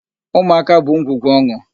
Ụmụaka bụ ngwugwu ọn̄ụ.